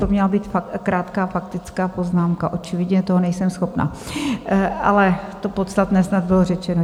To měla být krátká faktická poznámka, očividně toho nejsem schopna, ale to podstatné snad bylo řečeno.